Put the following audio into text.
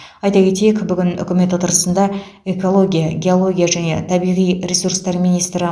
айта кетейік бүгін үкімет отырысында экология геология және табиғи ресурстар министрі